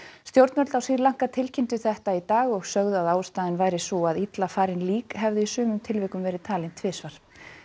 stjórnvöld á Sri Lanka tilkynntu þetta í dag og sögðu að ástæðan væri sú að illa farin lík hefðu í sumum tilvikum verið talin tvisvar